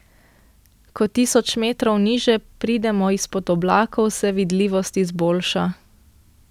Ko tisoč metrov niže pridemo izpod oblakov, se vidljivost izboljša.